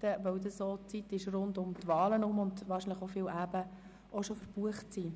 da dann auch die Wahlen stattfinden und damit viele Abende schon ausgebucht sind.